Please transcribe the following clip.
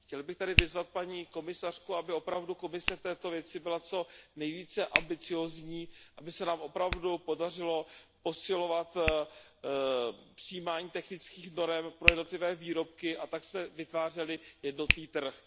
Chtěl bych tady vyzvat paní komisařku, aby opravdu Komise v této věci byla co nejvíce ambiciózní, aby se nám opravdu podařilo posilovat přijímání technických norem pro jednotlivé výrobky a tak jsme vytvářeli jednotný trh.